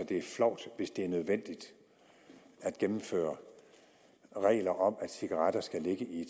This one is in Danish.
det er flovt hvis det er nødvendigt at gennemføre regler om at cigaretter skal ligge i